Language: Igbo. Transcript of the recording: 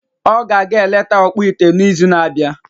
Ọ ga-aga eleta ọkpụite n’izu na-abịa.